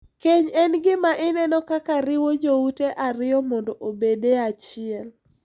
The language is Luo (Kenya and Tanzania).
Keny en gima ineno kaka riwo joute ariyo mondo obed e achiel.